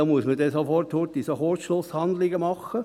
Da muss man sofort Kurzschlusshandlungen vornehmen.